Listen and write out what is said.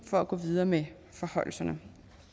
for at gå videre med forhøjelserne